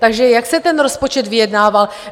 Takže jak se ten rozpočet vyjednával?